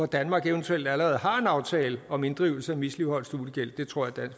danmark eventuelt allerede har en aftale om inddrivelse af misligholdt studiegæld det tror